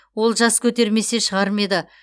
олжас көтермесе шығар ме еді